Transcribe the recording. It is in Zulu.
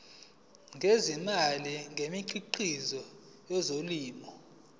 ngezimali ngemikhiqizo yezolimo